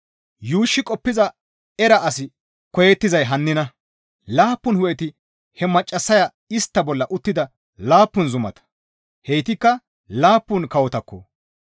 «Yuushshi qoppiza era asi koyettizay hannina; laappun hu7eti he maccassaya istta bolla uttida laappun zumata; heytikka laappun kawotakko.